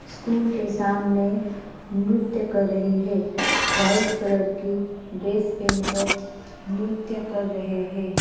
School के सामने नृत्य कर रही है वाइट कलर की ड्रेस पहनकर नृत्य कर रहे हैं ।